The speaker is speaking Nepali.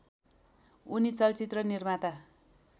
उनी चलचित्र निर्माता